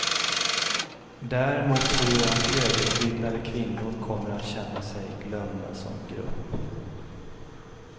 Däremot tror jag att högutbildade kvinnor kommer att känna sig glömda som grupp.